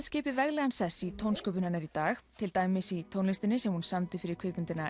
skipi veglegan sess í tónsköpun hennar í dag til dæmis í tónlistinni sem hún samdi fyrir kvikmyndina